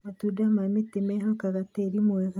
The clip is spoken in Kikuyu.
Matunda ma mĩtĩ mwehokaga tĩri mwega.